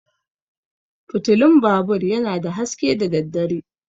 Fitulan babur yana da haske da daddare.